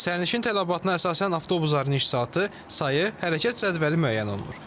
Sərnişin tələbatına əsasən avtobusların iş saatı, sayı, hərəkət cədvəli müəyyən olunur.